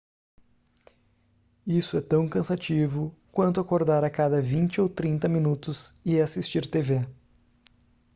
isso é tão cansativo quanto acordar a cada vinte ou trinta minutos e assistir tv